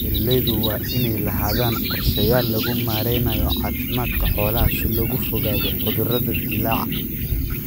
Beeralaydu waa inay lahaadaan qorshayaal lagu maaraynayo caafimaadka xoolaha si looga fogaado cudurro dillaaca.